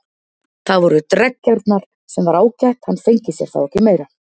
Það voru dreggjarnar, sem var ágætt, hann fengi sér þá ekki meira.